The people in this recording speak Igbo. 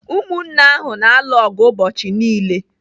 Umunne ahụ na-alu ọgụ ụbọchị niile.